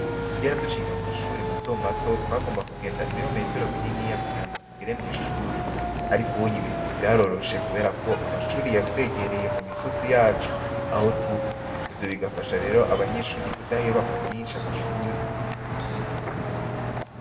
Kera tuciga mumashuri matomato twagomba kugenda ibirometero biniya kugirango tugere mwishuri , ariko ubunya ibintu vyaroroshe, kuberako amashuri yatwegereye mumisozi yacu aho tuba , ivyo bigafasha rero abanyeshure kudaheba kubwishi amashuri .